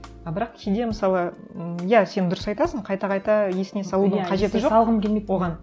а бірақ кейде мысалы ммм иә сен дұрыс айтасың қайта қайта есіне салудың қажеті жоқ оған